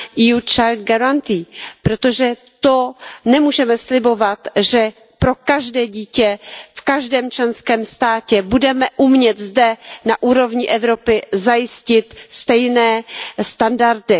youth child guarantee protože nemůžeme slibovat, že pro každé dítě v každém členském státě budeme umět zde na úrovni Evropy zajistit stejné standardy.